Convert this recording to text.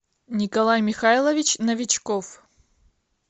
николай михайлович новичков